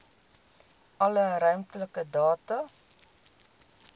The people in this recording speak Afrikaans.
alle ruimtelike data